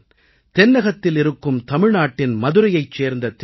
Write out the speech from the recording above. தென்னகத்தில் இருக்கும் தமிழ்நாட்டின் மதுரையைச் சேர்ந்த திருமதி